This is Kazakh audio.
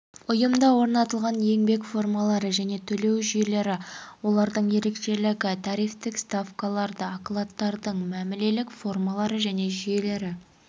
жұмыстар және жұмысшылардың тарификация және қайта тарификациялау тәртібі және ерекшелігі дайындықтың негізгі ережелері мен формалары өндірісте жұмысшылардың